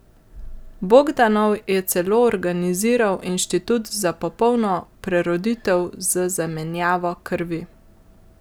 Bogdanov je celo organiziral inštitut za popolno preroditev z zamenjavo krvi.